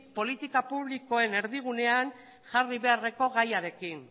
politika publikoen erdigunean jarri beharreko gaiarekin